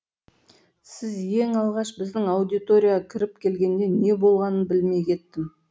сіз ең алғаш біздің аудиторияға кіріп келгенде не болғанын білмей кеттім